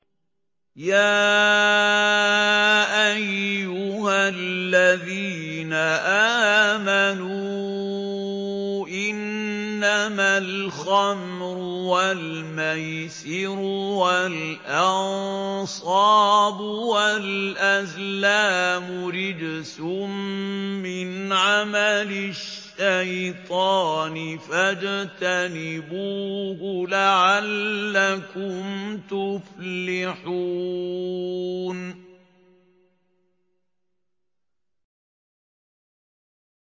يَا أَيُّهَا الَّذِينَ آمَنُوا إِنَّمَا الْخَمْرُ وَالْمَيْسِرُ وَالْأَنصَابُ وَالْأَزْلَامُ رِجْسٌ مِّنْ عَمَلِ الشَّيْطَانِ فَاجْتَنِبُوهُ لَعَلَّكُمْ تُفْلِحُونَ